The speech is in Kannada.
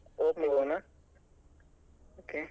Vivo ನ okay .